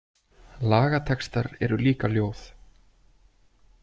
Lagatextar eru líka ljóð.